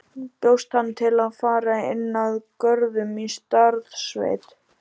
Bjóst hann til að fara inn að Görðum í Staðarsveit.